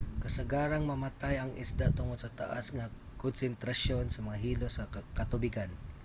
kasagarang mamatay ang isda tungod sa taas nga konsentrasyon sa mga hilo sa katubigan